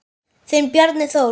Þinn Bjarni Þór.